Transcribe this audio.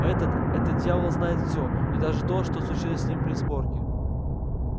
этот этот дьявол знает всё и даже то что случилось с ним при сборке